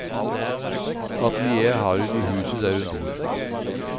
Atelieret har hun i huset der hun bor.